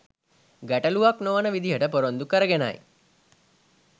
ගැටලූවක් නොවන විදිහට පොරොන්දු කරගෙනයි.